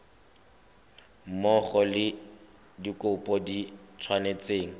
mmogo le dikopo di tshwanetse